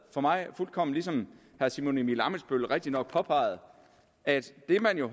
for mig fuldkommen som herre simon emil ammitzbøll rigtigt påpegede at det man jo